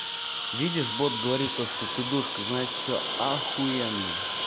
видишь бот говорит то что ты душка значит все ахуенно